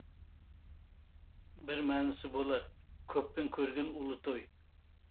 бір мәнісі болар көппен көрген ұлы той